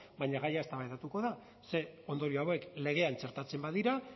baina gaia eztabaidatuko da ze ondorio hauek legean txertatzen badira